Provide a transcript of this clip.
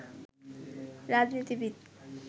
রাজনীতিবিদ